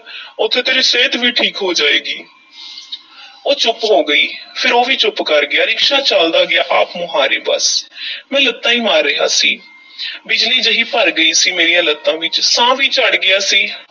ਉੱਥੇ ਤੇਰੀ ਸਿਹਤ ਵੀ ਠੀਕ ਹੋ ਜਾਏਗੀ ਉਹ ਚੁੱਪ ਹੋ ਗਈ, ਫੇਰ ਉਹ ਵੀ ਚੁੱਪ ਕਰ ਗਿਆ ਰਿਕਸ਼ਾ ਚੱਲਦਾ ਗਿਆ ਆਪਮੁਹਾਰਾ ਬੱਸ ਮੈਂ ਲੱਤਾਂ ਈ ਮਾਰ ਰਿਹਾ ਸੀ ਬਿਜਲੀ ਜਿਹੀ ਭਰ ਗਈ ਸੀ ਮੇਰੀਆਂ ਲੱਤਾਂ ਵਿੱਚ, ਸਾਹ ਵੀ ਚੜ੍ਹ ਗਿਆ ਸੀ।